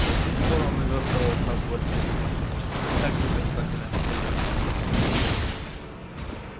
до сих пор он увёртывался от боли бессознательно так же бессознательно как и лез к свету